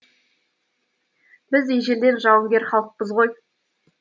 біз ежелден жауынгер халықпыз ғой